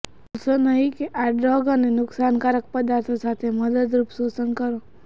ભૂલશો નહીં કે આ ડ્રગ અને નુકસાનકારક પદાર્થો સાથે મદદરૂપ શોષણ કરો